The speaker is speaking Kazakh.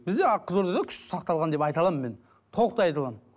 бізде қызылордада күшті сақталған деп айта аламын мен толықтай айта аламын